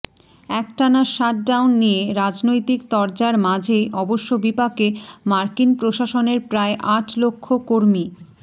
একটানা shut down নিয়ে রাজনৈতিক তরজার মাঝেই অবশ্য বিপাকে মার্কিন প্রশাসনের প্রায় আট লক্ষ কর্মী